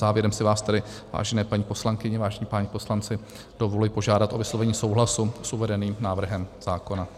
Závěrem si vás tedy, vážené paní poslankyně, vážení páni poslanci, dovoluji požádat o vyslovení souhlasu s uvedeným návrhem zákona.